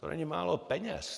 To není málo peněz.